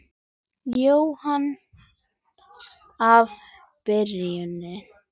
Jóhann: Af Birnu?